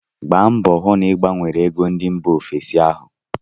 Gba mbọọ hụ na ị gbanwere ego ndị mba ofesi ahu!